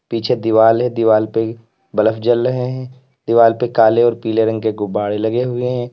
पीछे दीवार है दीवार पे बल्फ जल रहे हैं दीवाल पे काले और पीले रंग के गुब्बारे लगे हुए हैं।